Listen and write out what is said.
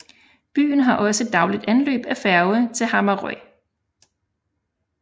Byen har også dagligt anløb af færge til Hamarøy